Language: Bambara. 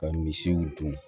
Ka misiw dun